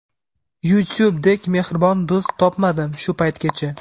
YouTube dek mehribon do‘st topmadim shu paytgacha.